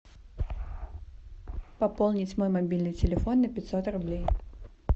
пополнить мой мобильный телефон на пятьсот рублей